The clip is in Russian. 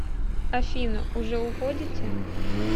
афина уже уходите